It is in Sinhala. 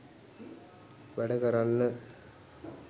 වැඩ කරන්න.